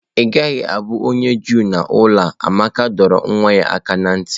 Ị gaghị abụ onye Juu n'ụlọ a! Amaka dọrọ nwa ya aka ná ntị.